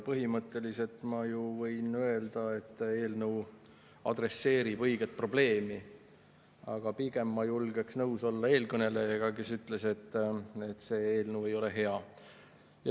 Põhimõtteliselt võin ma öelda, et eelnõu adresseerib õiget probleemi, aga pigem ma julgeks olla nõus eelkõnelejaga, kes ütles, et see eelnõu ei ole hea.